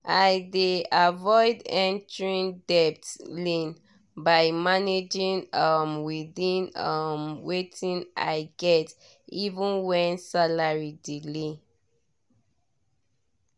i dey avoid entering debt lane by managing um within um wetin i get even when salary delay.